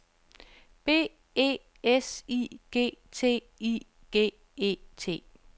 B E S I G T I G E T